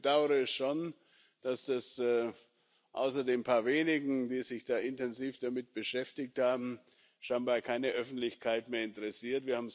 Ich bedaure schon, dass es außer den paar wenigen, die sich intensiv damit beschäftigt haben, scheinbar keine Öffentlichkeit mehr interessiert.